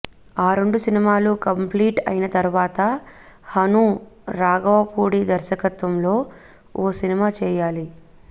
ఆ రెండు సినిమాలు కంప్లీట్ అయిన తర్వాత హను రాఘవపూడి దర్శకత్వంలో ఓ సినిమా చేయాలి